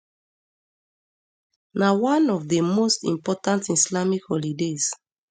na one of di most important islamic holidays